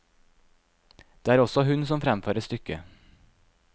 Det er også hun som fremfører stykket.